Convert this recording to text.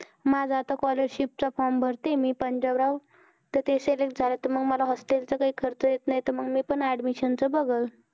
माझ आता scholarship च form भरती आहे मी ते पंजाबराव ते select झालं तर मग hostel च काही खर्च येत नाही, तर मग मी पण admission बघलं